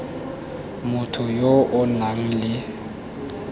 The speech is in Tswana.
motho yo o nang le